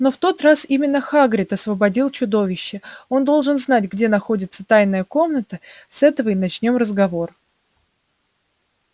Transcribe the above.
но в тот раз именно хагрид освободил чудовище он должен знать где находится тайная комната с этого и начнём разговор